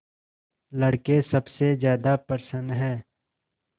लड़के सबसे ज्यादा प्रसन्न हैं